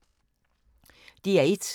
DR1